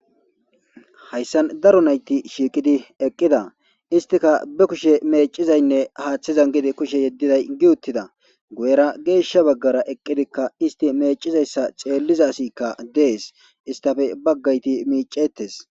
hayssan daro nayti shiiqidi eqqida istika be kushe meecizaynne haaththizan gidi kushe yeddiday gi uttida guyera geeshsha baggara eqqidikka isti meecizayssa xeelliza asikka dees istafe baggayti miicettes